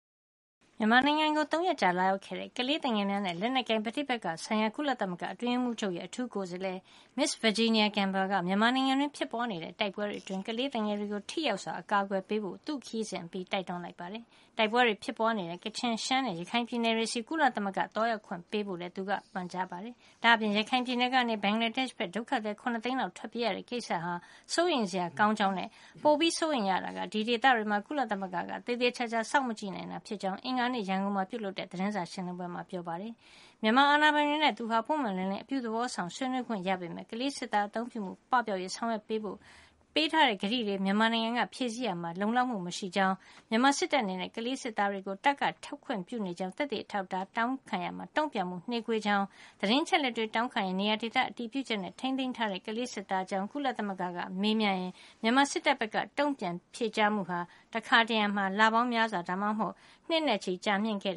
မြန်မာနိုင်ငံကို ၃ ရက်ကြာ လာရောက်ခဲ့တဲ့ ကလေးသူငယ်များနှင့် လက်နက်ကိုင်ပဋိပက္ခဆိုင်ရာ ကုလသမဂ္ဂအတွင်းရေးမှူးချုပ်ရဲ့ အထူးကိုယ်စားလှယ် Ms. Virginia Gamba က မြန်မာနိုင်ငံတွင်းဖြစ်ပွါးနေတဲ့ တိုက်ပွဲတွေအတွင်း ကလေးသူငယ်တွေကို ထိရောက်စွာ အကာကွယ်ပေးဖို့ သူ့ခရီးစဉ်အပြီးမှာ တိုက်တွန်းလိုက်ပါတယ်။ တိုက်ပွဲတွေဖြစ်ပွါးနေတဲ့ ကချင်၊ ရှမ်းနဲ့ ရခိုင်ပြည်နယ်တွေဆီ ကုလသမဂ္ဂကို သွားရောက်ခွင့်ပေးဖို့လည်း သူကပန်ကြားခဲ့ပါတယ်။ ဒါ့အပြင် ရခိုင်ပြည်နယ်ကနေ ဘင်္ဂလားဒေ့ရှ်ဘက်ကို ဒုက္ခသည် ၇ သိန်းလောက်ထွက်ပြေးရတဲ့ ကိစ္စဟာ စိုးရိမ်စရာကောင်းကြောင်းနဲ့ ပိုပြီး စိုးရိမ်ရတာက ဒီဒေသတွေမှာ ကုလသမဂ္ဂက သေသေချာချာ စောင့်မကြည့်နိုင်တာ ဖြစ်ကြောင်း အင်္ဂါနေ့ ရန်ကုန်မှာ ပြုလုပ်တဲ့ သတင်းစာ ရှင်းလင်းပွဲမှာ ပြောကြားခဲ့ပါတယ်။ မြန်မာ အာဏာပိုင်တွေနဲ့ သူဟာ ပွင့်ပွင့်လင်းလင်းနဲ့ အပြုသဘောဆောင်စွာ ဆွေးနွေးခွင့်ရခဲ့ပေမယ့် ခလေးစစ်သားများ အသုံးပြုမှု ပပျောက်ရေးကို ဆောင်ရွက်ပေးဖို့ ပေးထားတဲ့ ကတိတွေကိုလည်း မြန်မာနိုင်ငံက ဖြည့်ဆည်းရာမှာ လုံလောက်မှု မရှိတဲ့ အကြောင်း၊ မြန်မာစစ်တပ် အနေနဲ့ ကလေးစစ်သားများကို တပ်ကနေ ထွက်ခွင့်ပြုနေကြောင်း သက်သေ အထောက်အထားတွေကို တောင်းခံရာမှာ တုန့်ပြန်မှု နှေးကွေးတဲ့ အကြောင်း၊ သတင်းအချက်အလက်တွေ တောင်းခံရင် နေရာဒေသတွေကို အတည်ပြုချက်နဲ့ ထိမ်းသိမ်းထားတဲ့ ကလေးစစ်သားတွေ အကြောင်း ကုလသမဂ္ဂက မေးမြန်းရင် မြန်မာစစ်တပ်ဘက်က တုန့်ပြန် ဖြေကြားမှုဟာ တခါတရံ လပေါင်းများစွာ၊ ဒါမှမဟုတ် နှစ်နဲ့ ချီကြာမြင့်ခဲ့